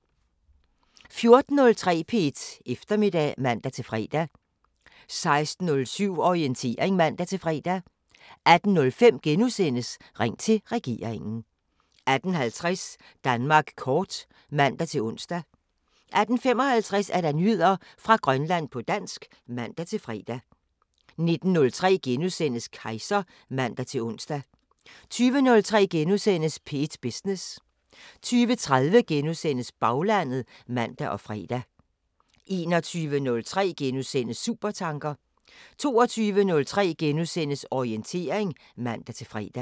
14:03: P1 Eftermiddag (man-fre) 16:07: Orientering (man-fre) 18:05: Ring til regeringen * 18:50: Danmark kort (man-ons) 18:55: Nyheder fra Grønland på dansk (man-fre) 19:03: Kejser *(man-ons) 20:03: P1 Business * 20:30: Baglandet *(man og fre) 21:03: Supertanker * 22:03: Orientering *(man-fre)